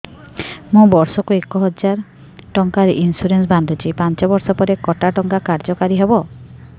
ମୁ ବର୍ଷ କୁ ଏକ ହଜାରେ ଟଙ୍କା ଇନ୍ସୁରେନ୍ସ ବାନ୍ଧୁଛି ପାଞ୍ଚ ବର୍ଷ ପରେ କଟା ଟଙ୍କା କାର୍ଯ୍ୟ କାରି ହେବ